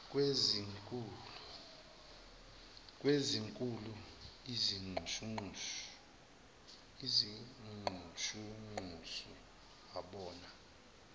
kwezinkulu izinxushunxusu wabona